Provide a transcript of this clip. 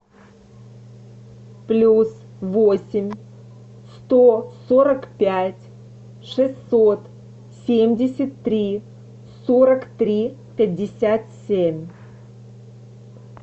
плюс восемь сто сорок пять шестьсот семьдесят три сорок три пятьдесят семь